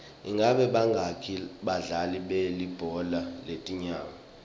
ingabe bangaki badlali belibhola letinyawo